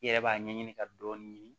I yɛrɛ b'a ɲɛɲini ka dɔɔni ɲini